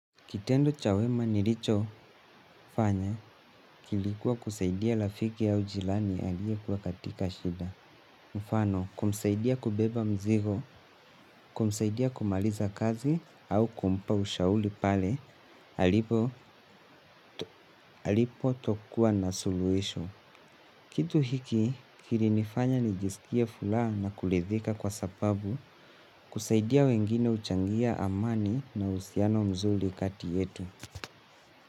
Kitendo cha wema nilicho fanya, kilikuwa kusaidia rafiki au jirani aliye kuwa katika shida. Mfano, kumsaidia kubeba mzigo, kumsaidia kumaliza kazi au kumpa ushauri pale, alipo tokuwa na suluhisho. Kitu hiki, kili nifanya nijisikie furaha na kuridhika kwa sababu, kusaidia wengine huchangia amani na uhusiano mzuri kati yetu.